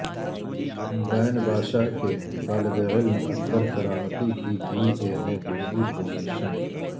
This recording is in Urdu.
بین باشہ کے طالبعلم اکبرکرامتی کی بی اے میں دوسری پوزیشن